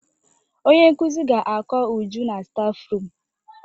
Onye nkuzi ga-akọ Uju na stafrum.